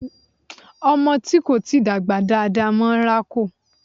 Ọmọ tí kò tíì dàgbà dáa dáa máa rákò.